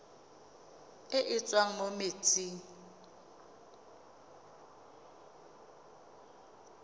e e tswang mo metsing